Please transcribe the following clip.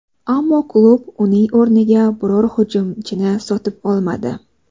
Ammo klub uning o‘rniga biror hujumchini sotib olmadi.